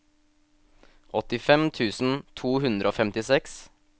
åttifem tusen to hundre og femtiseks